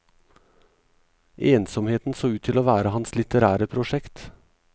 Ensomheten så ut til å være hans litterære prosjekt.